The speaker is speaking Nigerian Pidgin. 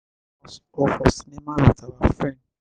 we we fit watch show for house or for cinema with our friend